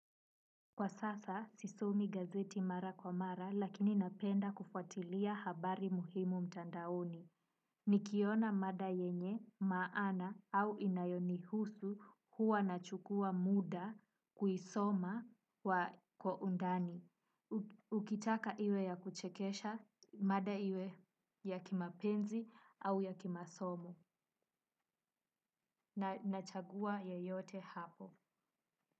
Kwa sasa, sisomi gazeti mara kwa mara, lakini napenda kufuatilia habari muhimu mtandaoni. Nikiona mada yenye maana au inayonihusu huwa nachukua muda kuisoma kwa kwa undani. Ukitaka iwe ya kuchekesha mada iwe ya kimapenzi au ya kimasomo. Nachagua yeyote hapo.